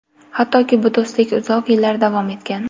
Hattoki bu do‘stlik uzoq yillar davom etgan.